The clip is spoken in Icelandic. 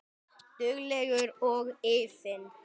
Dugleg og iðin.